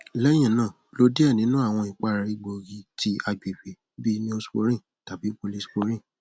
lẹhinna lo diẹ ninu awọn ipara egboogi ti agbegbe bii neosporin tabi polysporin